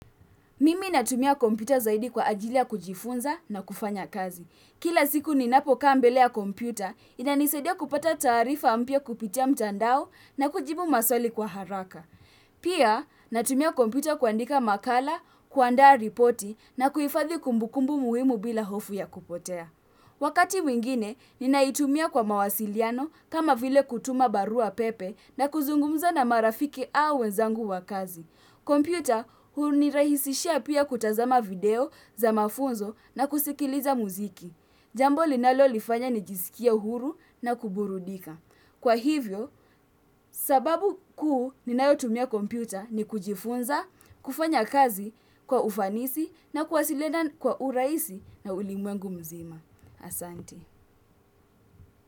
Mimi natumia kompyuta zaidi kwa ajiri ya kujifunza na kufanya kazi. Kila siku ninapokaa mbele ya kompyuta, inanisadia kupata taarifa mpya kupitia mtandao na kujibu maswali kwa haraka. Pia natumia kompyuta kuandika makala, kuandaa ripoti na kuhifadhi kumbukumbu muhimu bila hofu ya kupotea. Wakati mwingine, ninaitumia kwa mawasiliano kama vile kutuma barua pepe na kuzungumza na marafiki au wenzangu wa kazi. Kompyuta hunirahishia pia kutazama video za mafunzo na kusikiliza muziki jambo linalolifanya nijisikie uhuru na kuburudika. Kwa hivyo, sababu kuu ninayotumia computer ni kujifunza, kufanya kazi kwa ufanisi na kuwasiliana kwa urahisi na ulimwengu mzima. Asanti.